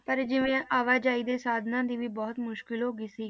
ਪਰ ਜਿਵੇਂ ਆਵਾਜਾਈ ਦੇ ਸਾਧਨਾਂ ਦੀ ਵੀ ਬਹੁਤ ਮੁਸ਼ਕਲ ਹੋ ਗਈ ਸੀ